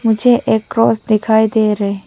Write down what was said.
मुझे एक क्रॉस दिखाई दे रहे --